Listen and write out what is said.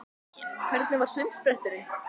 Hvernig var sundspretturinn?